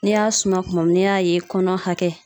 N'i y'a suma kuma min n'i y'a ye kɔnɔ hakɛ